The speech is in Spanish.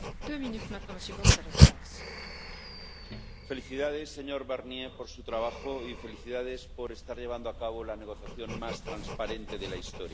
Señora presidenta. Felicidades, señor Barnier, por su trabajo y felicidades por estar llevando a cabo la negociación más transparente de la historia.